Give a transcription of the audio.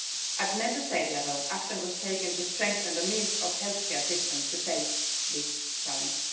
At Member State level, action was taken to strengthen the means of healthcare systems to face this challenge.